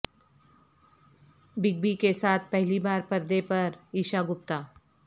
big B کے ساتھ پہلی بار پردے پر ایشا گپتا